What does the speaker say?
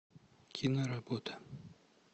киноработа